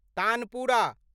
tanpura